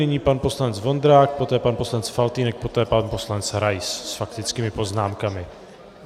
Nyní pan poslanec Vondrák, poté pan poslanec Faltýnek, poté pan poslanec Rais s faktickými poznámkami.